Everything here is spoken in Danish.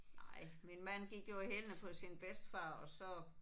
Nej. Min mand gik jo i hælene på sin bedstefar og så